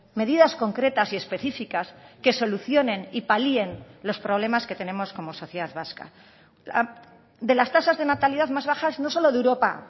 medidas concretas y específicas que solucionen y palien los problemas que tenemos como sociedad vasca de las tasas de natalidad más bajas no solo de europa